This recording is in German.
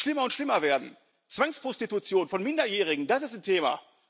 Themen, die schlimmer und schlimmer werden Zwangsprostitution von Minderjährigen das ist ein Thema